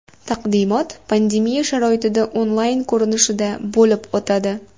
Taqdimot pandemiya sharoitida onlayn ko‘rinishida bo‘lib o‘tadi.